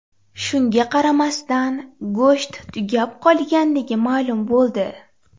Shunga qaramasdan, go‘sht tugab qolganligi ma’lum bo‘ldi.